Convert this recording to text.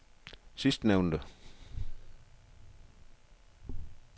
sidstnævnte